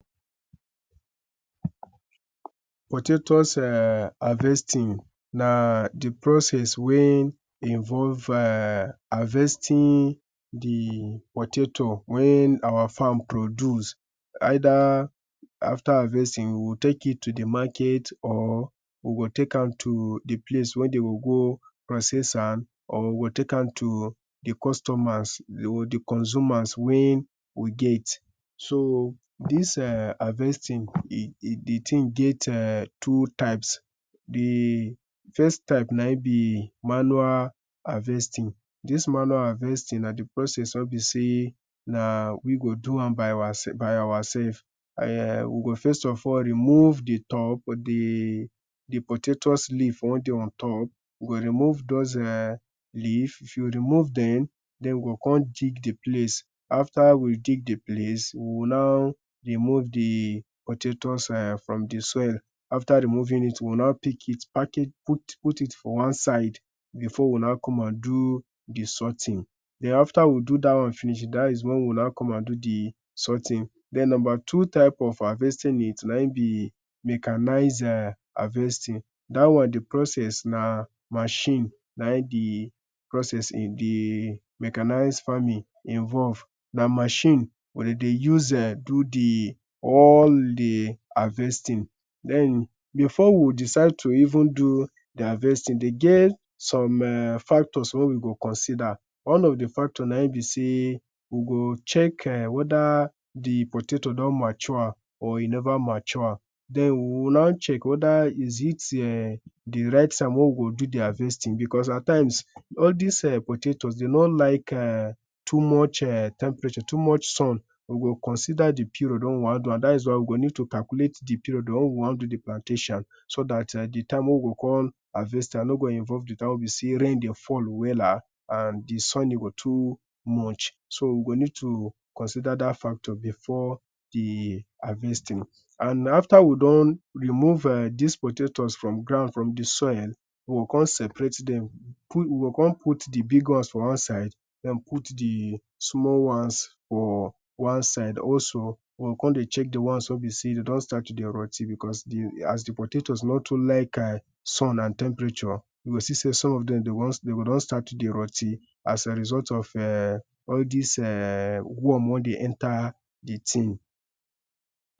potatoes um harvesting na the process wen involve um harvesting the potato wen our farm produce either after harvesting we will take it to the market or we go take am to the place wey dey go process am or we go take am to the customers or the consumers wey we get so this ehh harvesting de the ting get eh two types the first type na him be manual harvesting this manual harvestin na the process wey be sey na we go do am by ourself um we go first of all remove the top the the potatoes leaf wer de ontop we go remove those um leaf if you remove them then we go come dig the place after we dig the place we go now remove the potatoes um from the soil after removing it we will now pick it pack it put it for one side before we will now come and do the sorting then after we do that one finish that is wen we will now come and do the sorting then number two type of harvesting it na him be mechanise um harvesting that one the process na machine na him be process in the machanise farming involve na machine wey dey dey use do the all the harvesting then before we decide to even do the harvesting e get some um factors wey we go consider one of the factor na him be sey we go check ehh whether the potato don mature or e never mature then we wiil now check whether is it um the right time wey we go do the harvesting because at times all these eh potatoes dey no like um to much um temperature too much sun we go consider the period wen we wan do am that is why we go need calculate the period wey we wan do the plantation so that the time wey we go come harvest am no go involve the time wey be sey rain the fall wella and the sun e go too much so we go need to consider that factor before the harvesting and after we don move um dis potatoes from ground from the soil we go come seperate them we go come put all the big ones for one side then put the small ones for one side also we go come dey check the ones wey be sey dey don start to dey rot ten because as the potatoes no too like ehh sun and temperature you go see sey some of dem go don start to dey rot ten as a result um all dis um worm wey dey enter the thing.